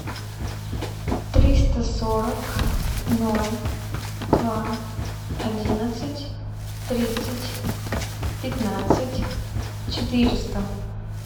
триста сорок ноль два одиннадцать тридцать пятнадцать четыреста